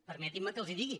permetin me que els ho digui